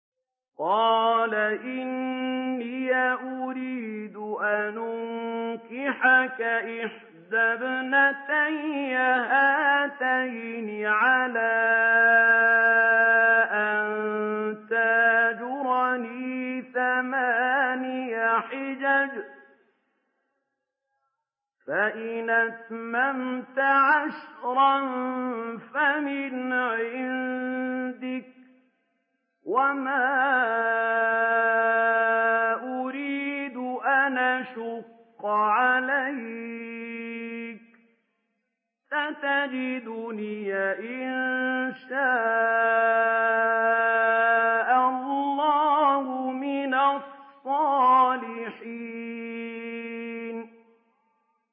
قَالَ إِنِّي أُرِيدُ أَنْ أُنكِحَكَ إِحْدَى ابْنَتَيَّ هَاتَيْنِ عَلَىٰ أَن تَأْجُرَنِي ثَمَانِيَ حِجَجٍ ۖ فَإِنْ أَتْمَمْتَ عَشْرًا فَمِنْ عِندِكَ ۖ وَمَا أُرِيدُ أَنْ أَشُقَّ عَلَيْكَ ۚ سَتَجِدُنِي إِن شَاءَ اللَّهُ مِنَ الصَّالِحِينَ